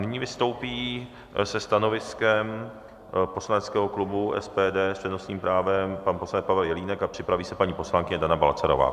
Nyní vystoupí se stanoviskem poslaneckého klubu SPD s přednostním právem pan poslanec Pavel Jelínek a připraví se paní poslankyně Dana Balcarová.